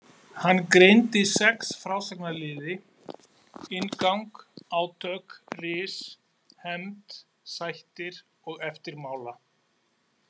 Hann greindi sex frásagnarliði: inngang, átök, ris, hefnd, sættir og eftirmála.